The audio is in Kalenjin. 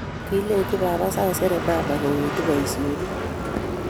Kilenji baba saisere mama kingowendi boisionik